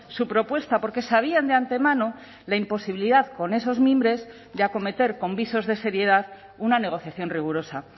su propuesta porque sabían de antemano la imposibilidad con esos mimbres de acometer con visos de seriedad una negociación rigurosa